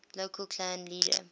local clan leader